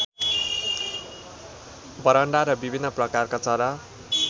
बरण्डा र विभिन्न प्रकारका चरा